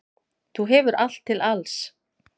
Þú hefur allt til alls.